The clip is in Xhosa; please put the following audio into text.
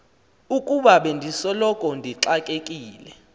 ukuba bendisoloko ndixakekile